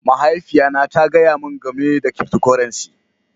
Mahaifiya na ta gaya min gamai da cryptocurrency.